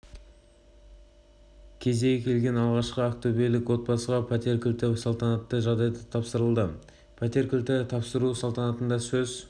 кезегі келген алғашқы ақтөбелік отбасыға пәтер кілттері салтанатты жағдайда тапсырылды пәтер кілттерін тапсыру салтанатында сөз